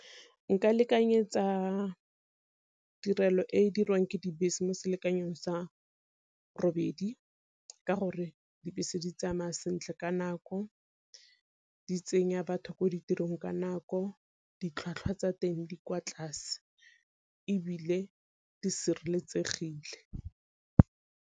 Nka lekanyetsa tirelo e e dirwang ke dibese mo selekanyo sa robedi ka gore dibese di tsamaya sentle ka nako, di tsenya batho ko ditirong ka nako, ditlhwatlhwa tsa teng di kwa tlase ebile di sireletsegile.